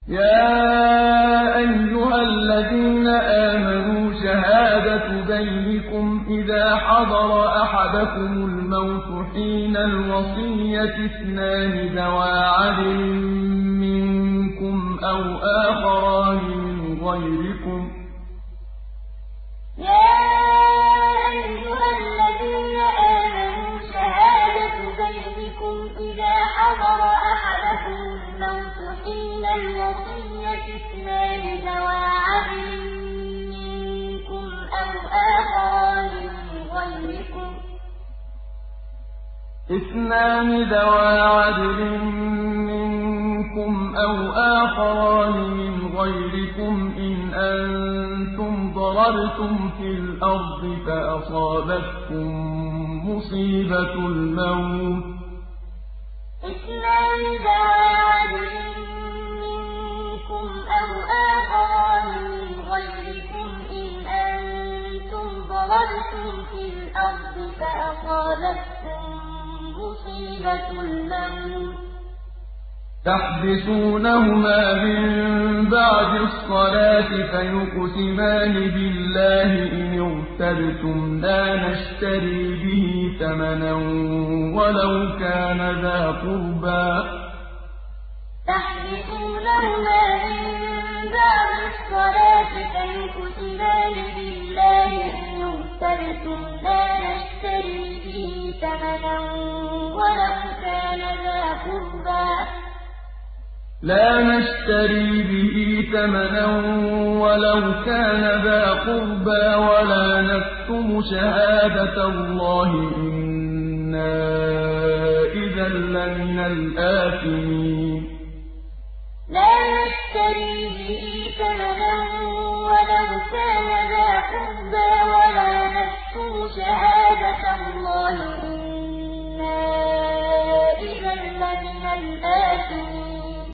يَا أَيُّهَا الَّذِينَ آمَنُوا شَهَادَةُ بَيْنِكُمْ إِذَا حَضَرَ أَحَدَكُمُ الْمَوْتُ حِينَ الْوَصِيَّةِ اثْنَانِ ذَوَا عَدْلٍ مِّنكُمْ أَوْ آخَرَانِ مِنْ غَيْرِكُمْ إِنْ أَنتُمْ ضَرَبْتُمْ فِي الْأَرْضِ فَأَصَابَتْكُم مُّصِيبَةُ الْمَوْتِ ۚ تَحْبِسُونَهُمَا مِن بَعْدِ الصَّلَاةِ فَيُقْسِمَانِ بِاللَّهِ إِنِ ارْتَبْتُمْ لَا نَشْتَرِي بِهِ ثَمَنًا وَلَوْ كَانَ ذَا قُرْبَىٰ ۙ وَلَا نَكْتُمُ شَهَادَةَ اللَّهِ إِنَّا إِذًا لَّمِنَ الْآثِمِينَ يَا أَيُّهَا الَّذِينَ آمَنُوا شَهَادَةُ بَيْنِكُمْ إِذَا حَضَرَ أَحَدَكُمُ الْمَوْتُ حِينَ الْوَصِيَّةِ اثْنَانِ ذَوَا عَدْلٍ مِّنكُمْ أَوْ آخَرَانِ مِنْ غَيْرِكُمْ إِنْ أَنتُمْ ضَرَبْتُمْ فِي الْأَرْضِ فَأَصَابَتْكُم مُّصِيبَةُ الْمَوْتِ ۚ تَحْبِسُونَهُمَا مِن بَعْدِ الصَّلَاةِ فَيُقْسِمَانِ بِاللَّهِ إِنِ ارْتَبْتُمْ لَا نَشْتَرِي بِهِ ثَمَنًا وَلَوْ كَانَ ذَا قُرْبَىٰ ۙ وَلَا نَكْتُمُ شَهَادَةَ اللَّهِ إِنَّا إِذًا لَّمِنَ الْآثِمِينَ